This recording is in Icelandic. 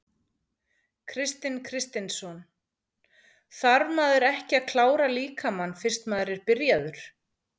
Kristinn Kristinsson: Þarf maður ekki að klára líkamann fyrst að maður er byrjaður?